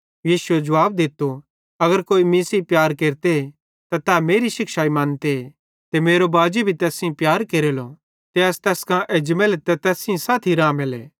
यीशुए जुवाब दित्तो अगर कोई मीं सेइं प्यार केरते त तै मेरी शिक्षाई मन्ते ते मेरो बाजी भी तैस सेइं प्यार केरेलो ते अस तैस कां एजमेले ते तैस सेइं साथी रामेले